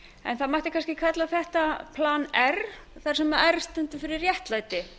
það mætti kannski kalla þetta plan r þar sem r stendur fyrir réttlæti